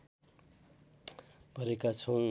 परेका छौँ